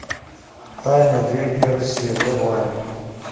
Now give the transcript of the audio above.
тайны древней руси врубай